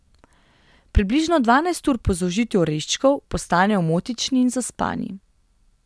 Približno dvanajst ur po zaužitju oreščkov postanejo omotični in zaspani.